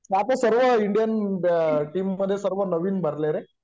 सर्व Indian team मधे सर्व नवीन भरलेय रे